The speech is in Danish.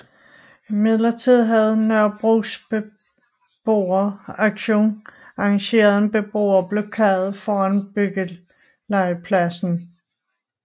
Imidlertid havde Nørrebros Beboeraktion arrangeret en beboerblokade foran byggelegepladsen